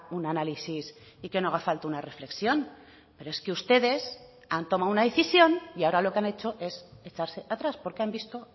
un análisis y que no haga falta una reflexión pero es que ustedes han tomado una decisión y ahora lo que han hecho es echarse atrás porque han visto